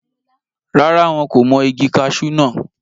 rárá, wọn kò mọ igi kasú náà